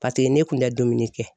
Paseke ne kun tɛ dumuni kɛ.